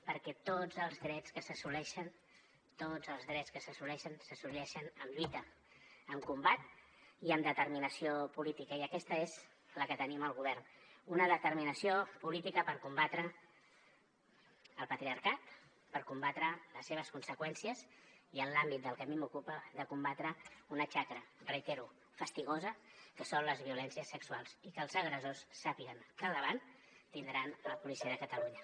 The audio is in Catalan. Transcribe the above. perquè tots els drets que s’assoleixen tots els drets que s’assoleixen s’assoleixen amb lluita amb combat i amb determinació política i aquesta és la que tenim al govern una determinació política per combatre el patriarcat per combatre les seves conseqüències i en l’àmbit del que a mi m’ocupa de combatre una xacra ho reitero fastigosa que són les violències sexuals i que els agressors sàpiguen que al davant tindran la policia de catalunya